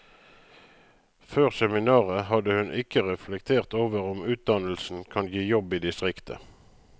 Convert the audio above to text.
Før seminaret hadde hun ikke reflektert over om utdannelsen kan gi jobb i distriktet.